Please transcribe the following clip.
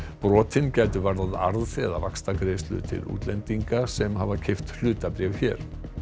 brotin gætu varðað arð eða vaxtagreiðslur til útlendinga sem hafa keypt hlutabréf hér